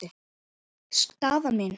Staðan mín?